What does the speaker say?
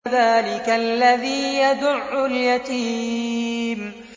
فَذَٰلِكَ الَّذِي يَدُعُّ الْيَتِيمَ